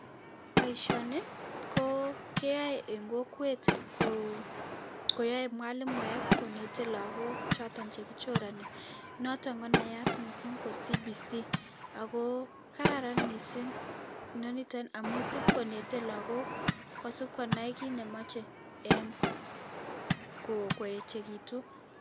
Boisioni ko keyoe eng kokwet koyae mwalimuek konetei lakok choto che kichorani, notok konaat mising ko CBC ako kararan mising inoniton amun sipkonetei lakok kosupkonai kiit ne machei eng kochekitu.